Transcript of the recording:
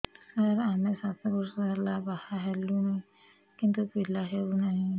ସାର ଆମେ ସାତ ବର୍ଷ ହେଲା ବାହା ହେଲୁଣି କିନ୍ତୁ ପିଲା ହେଉନାହିଁ